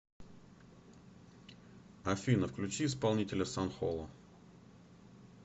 афина включи исполнителя сан холо